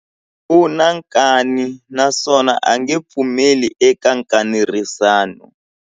U na nkani naswona a nge pfumeli eka nkanerisano.